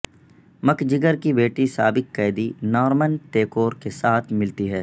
مک جگر کی بیٹی سابق قیدی نارمن تیکور کے ساتھ ملتی ہے